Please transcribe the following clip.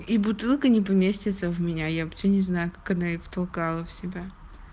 и бутылка не поместится в меня я вообще не знаю как одна я в толкала в себя